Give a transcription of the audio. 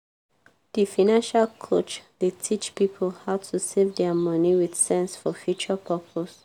di financial coach dey teach pipo how to save dia money with sense for future purpose.